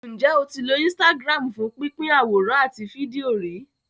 Ǹjẹ́ o ti lo Instagram fún pínpín àwòrán àti fídíò rí?